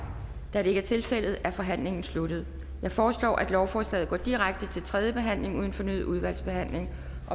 da det ikke er tilfældet er forhandlingen sluttet jeg foreslår at lovforslaget går direkte til tredje behandling uden fornyet udvalgsbehandling